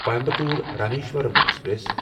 Coimbatore Rameswaram express